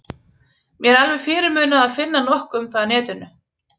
Mér er alveg fyrirmunað að finna nokkuð um það á netinu.